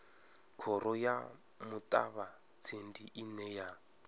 khoro ya muṱavhatsindi ine ya